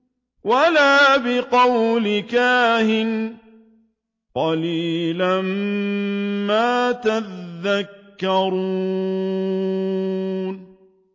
وَلَا بِقَوْلِ كَاهِنٍ ۚ قَلِيلًا مَّا تَذَكَّرُونَ